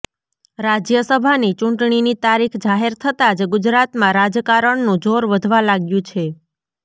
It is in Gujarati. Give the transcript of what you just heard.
રાજ્યસભાની ચૂંટણીની તારીખ જાહેર થતા જ ગુજરાતમાં રાજકારણનું જોર વધવા લાગ્યું છે